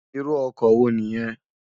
Irù òkò wó ni yèn?